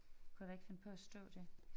Kunne der ikke finde på at stå det